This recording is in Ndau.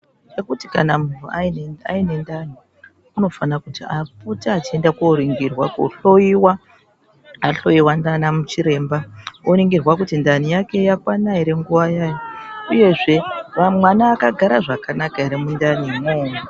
Nekuti kana muntu ane ndani anofana kupota einda kundoningirwa kuhloiwa. Ahloiwa nana chiremba, oningirwa kuti ndani yake yakwana here nguva yayo uyezve mwana akagara zvakanaka here mundani mo.